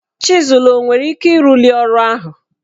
Chịzụl o nwere ike ịrụli ọrụ ahụ?